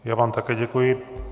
Já vám také děkuji.